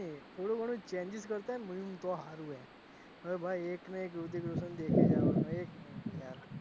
થોડું ઘણું changes કરતા હોય તો હારું લ્યા અરે ભાઈ એકને એક રિતિક રોશન દેખી જવાનું એજ ને યાર,